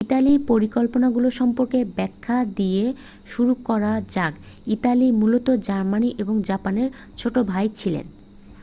"ইতালির পরিকল্পনাগুলো সম্পর্কে ব্যাখ্যা দিয়ে শুরু করা যাক। ইতালি মূলত জার্মানি ও জাপানের "ছোট ভাই" ছিল।